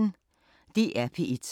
DR P1